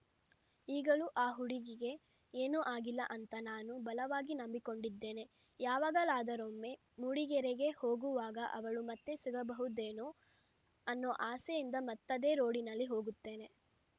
ಈಗಲೂ ಆ ಹುಡುಗಿಗೆ ಏನೂ ಆಗಿಲ್ಲ ಅಂತ ನಾನು ಬಲವಾಗಿ ನಂಬಿಕೊಂಡಿದ್ದೇನೆ ಯಾವಾಗಲಾದರೊಮ್ಮೆ ಮೂಡಿಗೆರೆಗೆ ಹೋಗುವಾಗ ಅವಳು ಮತ್ತೆ ಸಿಗಬಹುದೇನೋ ಅನ್ನೋ ಆಸೆಯಿಂದ ಮತ್ತದೇ ರೋಡಿನಲ್ಲಿ ಹೋಗುತ್ತೇನೆ